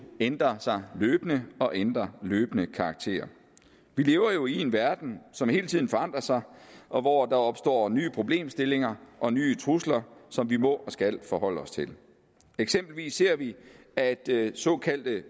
ændrer sig jo løbende og ændrer løbende karakter vi lever jo i en verden som hele tiden forandrer sig og hvor der opstår nye problemstillinger og nye trusler som vi må og skal forholde os til eksempelvis ser vi at såkaldte